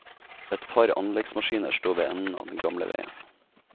Et par anleggsmaskiner står ved enden av den gamle veien.